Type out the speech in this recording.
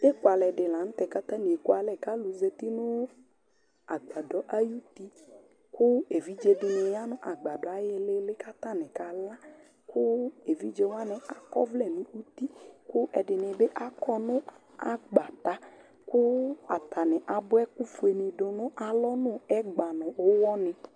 Ɛkʊalɛ dɩ la nʊ tɛ kʊ atanɩ ekʊalɛ kʊ alʊ zeti nʊ agbadɔ ayʊtɩ kʊ evedzedɩnɩ ya nʊ agbadɔ ayɩlɩ kʊ atanɩ kala Evɩdze wanɩ akɔvlɛ nʊ ʊtɩ kʊ ɛdɩnɩ bɩ akɔ nʊ akpata Atanɩ abʊa ɛkʊfoe dʊ nʊ alɔ nʊ ɛgba nʊ ʊwɔnɩ